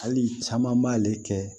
Hali caman b'ale kɛ